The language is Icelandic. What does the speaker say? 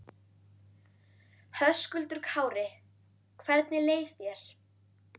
Höskuldur Kári: Hvernig leið þér?